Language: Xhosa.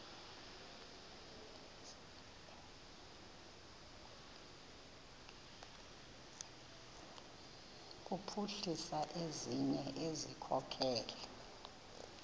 kuphuhlisa ezinye izikhokelo